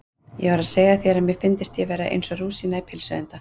Ég var að segja þér að mér fyndist ég vera eins og rúsína í pylsuenda